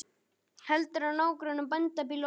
Hefur að nágrönnum bændabýli og akra.